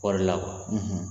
Kɔɔri la